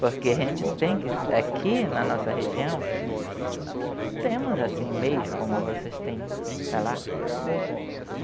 Porque a gente tem que, aqui na nossa região, nós não temos assim meios como vocês têm para lá.